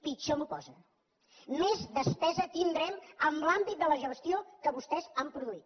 pitjor m’ho posa més despesa tindrem en l’àmbit de la gestió que vostès han produït